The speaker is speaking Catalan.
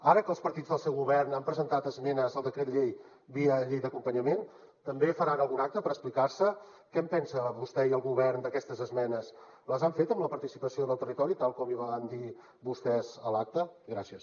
ara que els partits del seu govern han presentat esmenes al decret llei via llei d’acompanyament també faran algun acte per explicar se què en pensen vostè i el govern d’aquestes esmenes les han fet amb la participació del territori tal com van dir vostès a l’acte gràcies